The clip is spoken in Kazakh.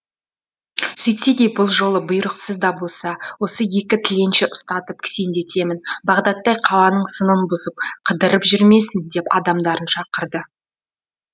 сөйтсе де бұл жолы бұйрықсыз да болса осы екі тіленшіні ұстатып кісендетемін бағдаттай қаланың сынын бұзып қыдырып жүрмесін деп адамдарын шақырды